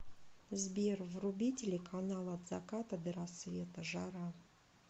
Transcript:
сбер вруби телеканал от заката до рассвета жара